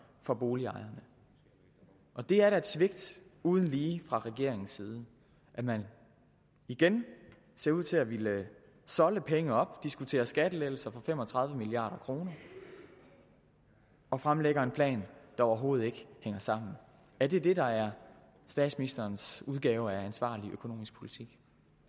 for boligejerne det er da et svigt uden lige fra regeringens side at man igen ser ud til at ville solde penge op diskutere skattelettelser for fem og tredive milliard kroner og fremlægge en plan der overhovedet ikke hænger sammen er det det der er statsministerens udgave af ansvarlig økonomisk politik